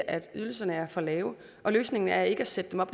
at ydelserne er for lave og løsningen er ikke at sætte dem op